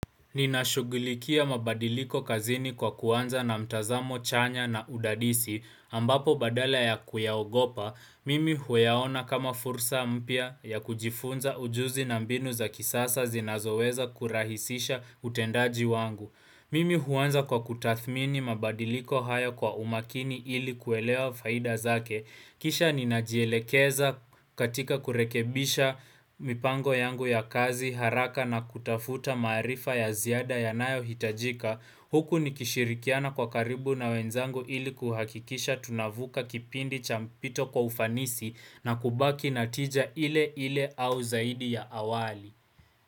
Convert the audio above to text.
Ninashugulikia mabadiliko kazini kwa kuanza na mtazamo chanya na udadisi ambapo badala ya kuyaogopa, mimi huyaona kama fursa mpya ya kujifunza ujuzi na mbinu za kisasa zinazoweza kurahisisha utendaji wangu. Mimi huanza kwa kutathmini mabadiliko hayo kwa umakini ili kuelewa faida zake. Kisha ni najielekeza katika kurekebisha mipango yangu ya kazi haraka na kutafuta maarifa ya ziada yanayohitajika. Huku ni kishirikiana kwa karibu na wenzangu ili kuhakikisha tunavuka kipindi cha mpito kwa ufanisi na kubaki natija ile ile au zaidi ya awali.